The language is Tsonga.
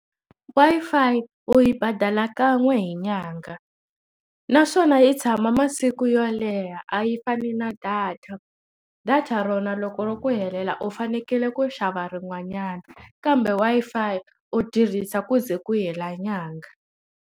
Wi-Fi u yi badala kan'we hi nyanga naswona yi tshama masiku yo leha a yi fani na data data rona loko ri ku helela u fanekele ku xava rin'wanyana kambe Wi-Fi u tirhisa ku ze ku hela nyanga.